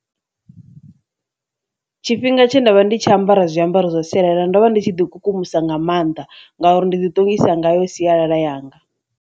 Tshifhinga tshe ndavha ndi tshi ambara zwiambaro zwa sialala ndo vha ndi tshi ḓi kukumusa nga mannḓa ngauri ndi ḓi ṱongisa ngayo sialala yanga.